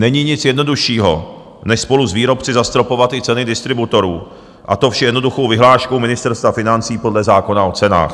Není nic jednoduššího než spolu s výrobci zastropovat i ceny distributorů, a to vše jednoduchou vyhláškou Ministerstva financí podle zákona o cenách.